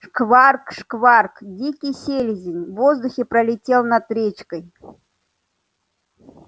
шкварк-шкварк дикий селезень в воздухе пролетел над речкой